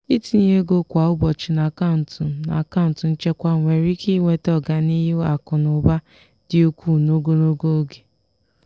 ịtinye ego kwa ụbọchị n'akaụntụ n'akaụntụ nchekwa nwere ike iweta ọganihu akụ na ụba dị ukwuu n'ogologo oge.